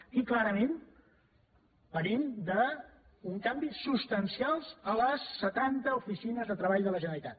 aquí clarament venim d’un canvi substancial a les setanta oficines de treball de la generalitat